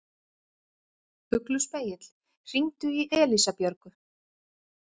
Ugluspegill, hringdu í Elísabjörgu.